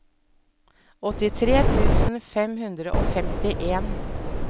åttitre tusen fem hundre og femtien